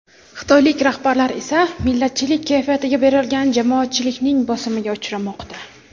Xitoylik rahbarlar esa millatchilik kayfiyatiga berilgan jamoatchilikning bosimiga uchramoqda.